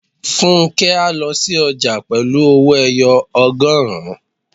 Fúnkẹ́ á lọ sí ọjà pẹ̀lú owó-ẹyọ ọgọrun